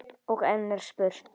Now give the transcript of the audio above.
Og enn er spurt.